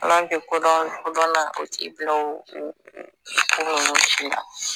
hal'an ti kodɔnna o t'i bilao ko ninnu si la